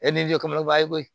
i b'a ye koyi